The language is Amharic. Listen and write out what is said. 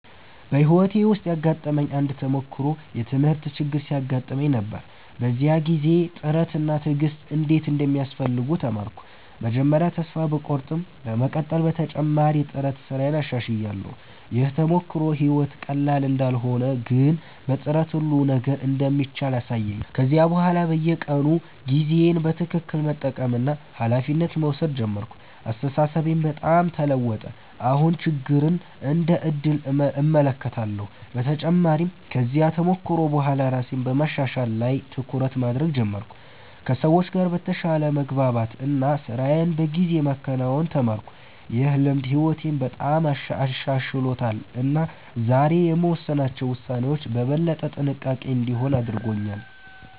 በሕይወቴ ውስጥ ያጋጠመኝ አንድ ተሞክሮ የትምህርት ችግር ሲያጋጥመኝ ነበር። በዚያ ጊዜ ጥረት እና ትዕግሥት እንዴት እንደሚያስፈልጉ ተማርኩ። መጀመሪያ ተስፋ ቢቆርጠኝም በመቀጠል በተጨማሪ ጥረት ስራዬን አሻሽላለሁ። ይህ ተሞክሮ ሕይወት ቀላል እንዳልሆነ ግን በጥረት ሁሉ ነገር እንደሚቻል አሳየኝ። ከዚያ በኋላ በየቀኑ ጊዜዬን በትክክል መጠቀምና ኃላፊነት መውሰድ ጀመርኩ። አስተሳሰቤም በጣም ተለወጠ፤ አሁን ችግርን እንደ ዕድል እመለከታለሁ። በተጨማሪም ከዚያ ተሞክሮ በኋላ ራሴን በማሻሻል ላይ ትኩረት ማድረግ ጀመርኩ፣ ከሰዎች ጋር በተሻለ መግባባት እና ስራዬን በጊዜ ማከናወን ተማርኩ። ይህ ልምድ ሕይወቴን በጣም አሻሽሎታል እና ዛሬ የምወስናቸው ውሳኔዎች በበለጠ ጥንቃቄ እንዲሆኑ አድርጎኛል።